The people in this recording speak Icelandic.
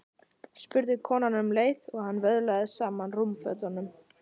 spurði konan um leið og hún vöðlaði saman rúmfötunum.